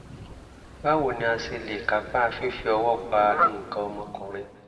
báwo ni a ṣe lè kápa fífi ọwọ́ pa nǹkan ọmọkùnrin?